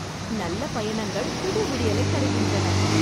நல்ல பயணங்கள் புது விடியலைத் தருகின்றன